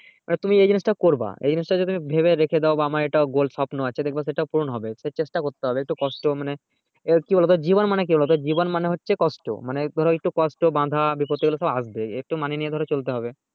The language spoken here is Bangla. তুমি এই জিনিস টা করব এই জিনিস টা তুমি যদি তুমি ভেবে রেকে দাও বা আমার এটা goal স্বপ্ন আছে দেখবা সেটা পূরণ হবে সে চেষ্টা করতে হবে একটু কষ্ট মানে কি বলতো জীবন মানে কি বলতো জীবন মানে হচ্ছে কষ্ট মানে ওই ধরো কষ্ট বাধা বিপত্তি ওগুলো সব আসবেই ওকে মানিয়ে নিয়ে চলতে হবে